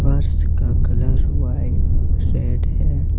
फर्श का colour white red है।